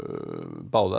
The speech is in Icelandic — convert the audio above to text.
báðar